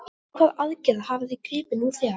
Til hvaða aðgerða hafið þið gripið nú þegar?